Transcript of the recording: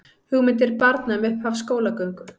Hugmyndir barna um upphaf skólagöngu